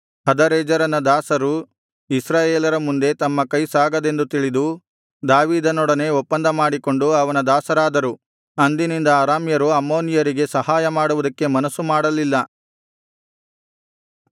ಹದರೆಜರನ ದಾಸರು ಇಸ್ರಾಯೇಲರ ಮುಂದೆ ತಮ್ಮ ಕೈ ಸಾಗದೆಂದು ತಿಳಿದು ದಾವೀದನೊಡನೆ ಒಪ್ಪಂದ ಮಾಡಿಕೊಂಡು ಅವನ ದಾಸರಾದರು ಅಂದಿನಿಂದ ಅರಾಮ್ಯರು ಅಮ್ಮೋನಿಯರಿಗೆ ಸಹಾಯಮಾಡುವುದಕ್ಕೆ ಮನಸ್ಸು ಮಾಡಲ್ಲಿಲ್ಲ